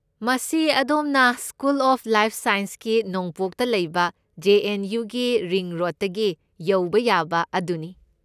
ꯃꯁꯤ ꯑꯗꯣꯝꯅ school of life ꯁꯥꯏꯟꯁꯀꯤ ꯅꯣꯡꯄꯣꯛꯇ ꯂꯩꯕ ꯖꯦ. ꯑꯦꯟ. ꯌꯨ. ꯒꯤ ꯔꯤꯡ ꯔꯣꯗꯇꯒꯤ ꯌꯧꯕ ꯌꯥꯕ ꯑꯗꯨꯅꯤ꯫